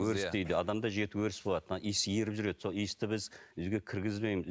өріс дейді адамда жеті өріс болады мына иіс еріп жүреді сол иісті біз үйге кіргізбейміз